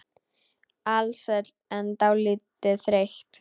Alsæl en dálítið þreytt.